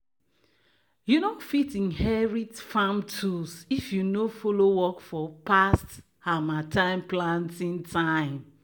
"you no fit inherit farm tools if you no follow work for past harmattan planting time."